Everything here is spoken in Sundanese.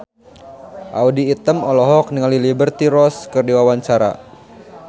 Audy Item olohok ningali Liberty Ross keur diwawancara